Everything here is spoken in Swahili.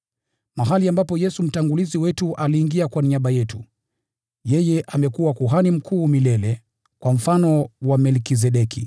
mahali ambapo Yesu mtangulizi wetu aliingia kwa niaba yetu. Yeye amekuwa Kuhani Mkuu milele, kwa mfano wa Melkizedeki.